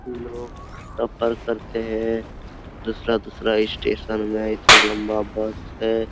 लोग सफर करते हैं दूसरा दूसरा स्टेशन मे इसका लम्बा बर्थ है ।